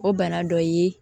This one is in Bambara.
O bana dɔ ye